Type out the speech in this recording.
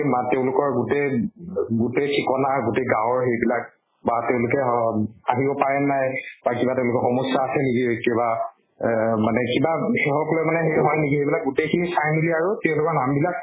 মাত তেওঁলোকৰ গোটেই ঠিকনা আৰু গোটেই গাওঁৰ হেৰিবিলাক বা তেওঁলোকে অম আহিব পাৰে নে নাই বা কিবা তেওঁলোকৰ সমস্য়া আছে নেকি কিবা আহ মানে কিবা সেহক লৈ মানে সেই হয় নেকি সেই বিলাক গোটেই খিনি চাই মেলি আৰু তেওঁলোকৰ নাম বিলাক